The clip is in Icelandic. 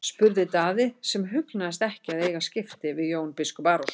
spurði Daði sem hugnaðist ekki að eiga skipti við Jón biskup Arason.